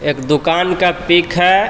एक दुकान का पिक है.